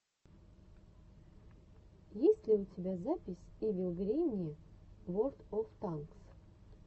есть ли у тебя запись ивил гренни ворлд оф танкс